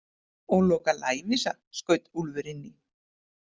Og Loka lævísa, skaut Úlfur inn í.